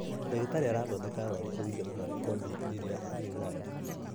Ndagĩtarĩ arathondeka arwaru kuringana na rekodi ĩria arĩ nayo